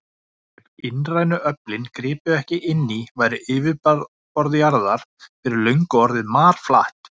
Ef innrænu öflin gripu ekki inn í væri yfirborð jarðar fyrir löngu orðið marflatt.